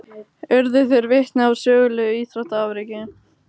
Urðu þeir vitni að sögulegu íþróttaafreki